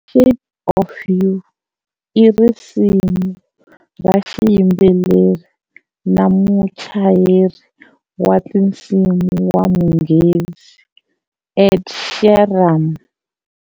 " Shape of You" i risimu ra xiyimbeleri na muchayeri wa tinsimu wa Munghezi Ed Sheeran.